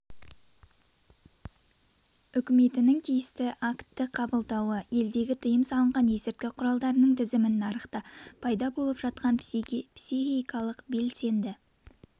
үкіметінің тиісті актті қабылдауы елдегі тыйым салынған есірткі құралдарының тізімін нарықта пайда болып жатқан психикалық белсенді